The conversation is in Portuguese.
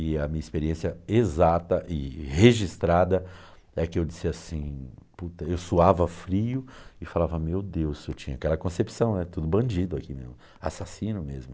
E a minha experiência exata e registrada é que eu disse assim, puta, eu suava frio e falava, meu Deus, eu tinha aquela concepção, é tudo bandido aqui, assassino mesmo.